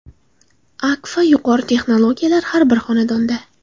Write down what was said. Akfa – yuqori texnologiyalar har bir xonadonda!